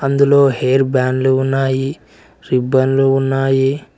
ఇందులో హెయిర్ బాండ్లు ఉన్నాయి రిబ్బన్లు ఉన్నాయి.